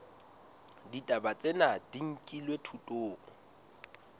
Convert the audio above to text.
ditaba tsena di nkilwe thutong